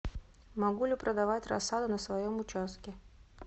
могу ли продавать рассаду на своем участке